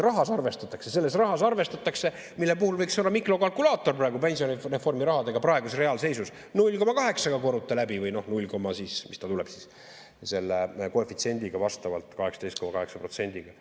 Rahas arvestatakse, selles rahas arvestatakse, mille puhul võiks olla mikrokalkulaator praegu, pensionireformi rahadega reaalseisus 0,8‑ga korruta läbi või null koma, mis ta tuleb siis, selle koefitsiendiga vastavalt 18,8%‑ga.